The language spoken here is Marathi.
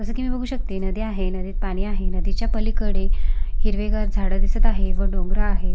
जस की मी बघू शकते नदी आहे नदीत पाणी आहे नदीच्या पलीकडे हिरवेगार झाड दिसत आहेत डोंगर दिसत आहेत.